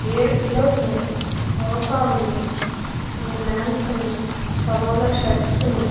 ఏడు పిల్లోస్ ఉన్నాయి సోఫా ఉంది రెండు లాంప్స్ ఉన్నాయ్ కబోర్డ్ లో షర్ట్స్ ఉన్నాయి.